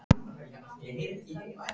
Hann hlær líka, trúir henni rétt mátulega.